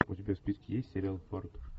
у тебя в списке есть сериал фарт